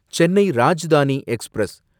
Chennai Rajdhani express